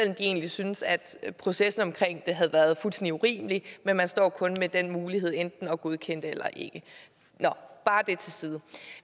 de egentlig syntes at processen havde været fuldstændig urimelig men man står kun med den mulighed enten at ikke godkende det nå det til side